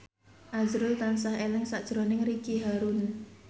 azrul tansah eling sakjroning Ricky Harun